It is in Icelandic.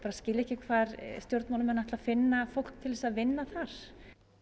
skil ég ekki hvar stjórnmálamenn ætla að finna fólk til að vinna þar